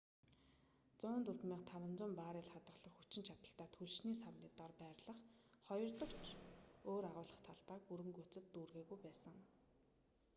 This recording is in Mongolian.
104,500 баррель хадгалах хүчин чадалтай түлшний савны доор байрлах хоёрдогч өөр агуулах талбайг бүрэн гүйцэд дүүргээгүй байсан